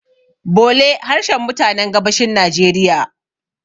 bole harshen mutanen gabashin najeriya